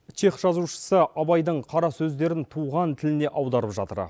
чех жазушысы абайдың қарасөздерін туған тіліне аударып жатыр